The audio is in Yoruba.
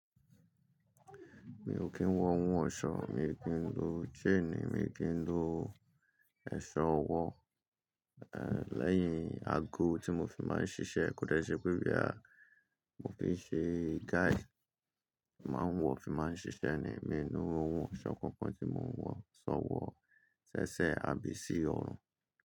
Mi ò kí ń wọ ohun ọ̀ṣọ́, mi ò kí ń lo chain, mi ò kí ń lo ẹ̀ṣọ́ ọwọ́, eh, lẹ́yìn ago tí mo fi máa ń ṣiṣẹ́ kò dẹ́ṣẹ́ pé boya mo bá ṣe guide, mo máa ń wọ̀ fi máa ń ṣiṣẹ́ ni, èmi o lohun ọ̀ṣọ́ kankan tí mò ń wọ̀, ṣọwọ́ sẹ́sẹ́ àbí sí ọrùn.